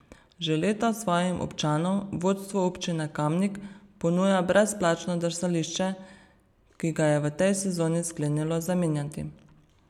Že leta svojim občanom vodstvo občine Kamnik ponuja brezplačno drsališče, ki ga je v tej sezoni sklenilo zamenjati.